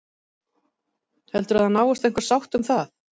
Heldurðu að það náist einhver sátt um það?